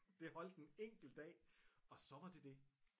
Det holdt en enkelt dag og så var det det